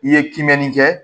I ye kimɛnni kɛ